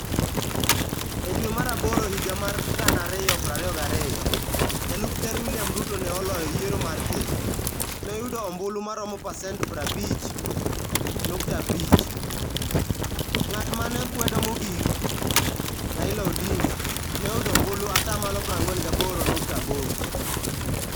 E dwe mar Aboro higa mar 2022, jalup Ker William Ruto ne oloyo yiero mar ker. Ne oyudo ombulu maromo pasent 50.5%. Ng'at ma ne kwedo mogik, Raila Odinga, ne oyudo ombulu 48.8%